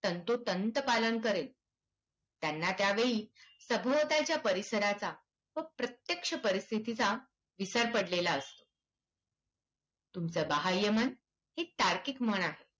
तंतोतंत पालन करेल. त्यांना त्या वेळी सभोवतालच्या परिसराचा व प्रत्यक्ष परिस्थितीचा विसर पडलेला असतो. तुमचं बाह्यमन हे तार्किक मन आहे.